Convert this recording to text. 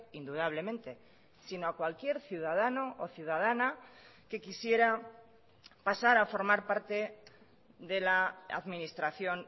indudablemente sino a cualquier ciudadano o ciudadana que quisiera pasar a formar parte de la administración